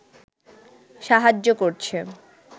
সাহায্য করছে